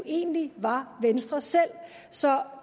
egentlig var venstre selv så